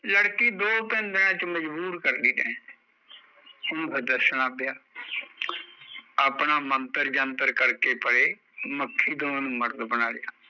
ਲੜਕੀ ਦੋ ਤਿੰਨ ਦਿਨਾ ਚ ਮਜ਼ਬੂਰ ਕਰ ਗਈ ਉਹਣੂ ਫੇਰ ਦੱਸਣਾ ਪਿਆ ਆਪਣਾ ਮੰਤਰ ਜੰਤਰ ਕਰਕੇ ਪਰੇ ਮੱਖੀ ਤੋਂ ਉਹਨੂ ਮਰਦ ਬਨਾਤਾਂ